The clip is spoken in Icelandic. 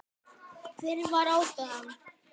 Hver var ástæðan?